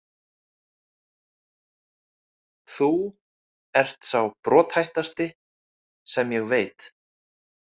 Þú ert sá brothættasti sem ég veit.